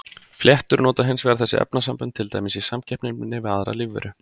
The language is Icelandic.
Fléttur nota hins vegar þessi efnasambönd til dæmis í samkeppninni við aðrar lífveru.